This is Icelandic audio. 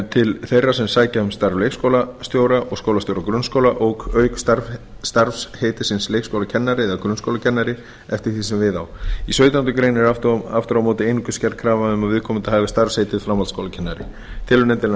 til þeirra sem sækja um starf leikskólastjóra og skólastjóra grunnskóla og auk starfsheitisins leikskólakennari eða grunnskólakennari eftir því sem við á í sautjándu grein er aftur á móti einungis gerð krafa um að viðkomandi hafi starfsheitið framhaldsskólakennari telur nefndin að